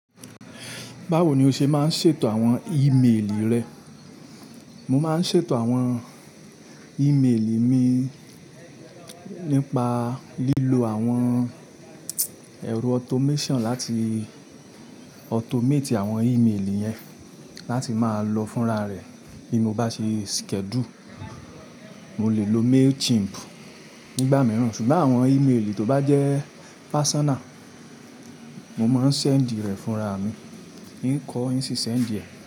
Báwo ni o ṣe máa ń ṣètò àwọn ìméèlì rẹ? Mo máa ń ṣètò àwọn ìméèlì mi nípa lílo àwọn ẹ̀rọ automation láti automate àwọn ìméèlì yẹn láti máa lọ fúnra rẹ̀ bí mo bá ṣe schedule. Mo lè lo Mailchimp nígbà mìíràn, ṣùgbọ́n àwọn ìméèlì tó bá jẹ́ personal, mo máa ń send rẹ̀ fúnra mi. N kọọ́, n sì send ẹ̀